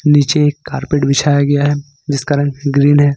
नीचे एक कार्पेट बिछाया गया हैं जिसका रंग ग्रीन है।